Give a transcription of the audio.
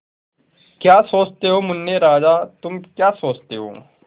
क्या सोचते हो मुन्ने राजा तुम क्या सोचते हो